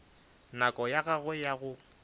nako ya gagwe ya go